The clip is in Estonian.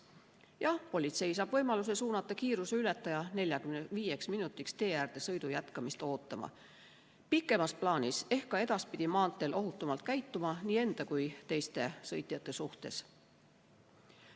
Jah, politsei saab võimaluse suunata kiiruseületaja 45 minutiks tee äärde sõidu jätkamist ootama ning pikemas plaanis ehk ka edaspidi maanteel nii enda kui ka teiste sõitjate suhtes ohutumalt käituma.